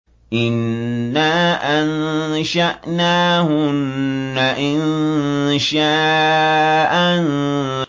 إِنَّا أَنشَأْنَاهُنَّ إِنشَاءً